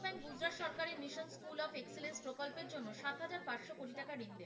কোটি টাকা ঋণ দেয়।